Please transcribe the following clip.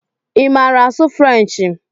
Ị maara asụ Frenchi?